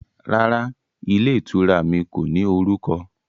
Rárá, ilé ìtura mi kò ní orúkọ